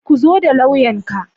Ku zo da lauyanka.